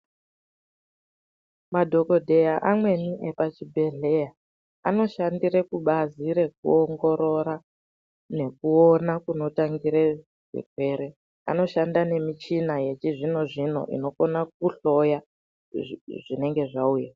Madhokodheya amweni epachibhedhleya, anoshandire kubazi rekuongorora nekuona kunotangire zvirwere. Anoshanda nemichina yechizvino-zvino inokona kuhloya zvinenge zvauya.